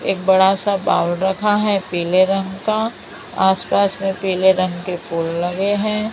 एक बड़ा सा बाउल रखा है पीले रंग का आस पास में पीले रंग के फूल लगे हैं।